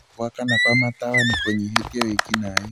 gũakana kwa matawa nĩkũnyihĩtie wĩĩkinaĩ